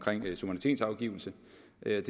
det er